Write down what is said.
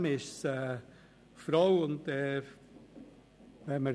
Zudem ist sie eine Frau.